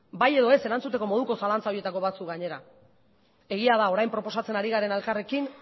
bai edo ez erantzuteko moduko zalantza horietako batzuk gainera egia da orain proposatzen ari garena elkarrekin